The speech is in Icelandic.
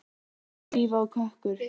spurði Drífa og kökkur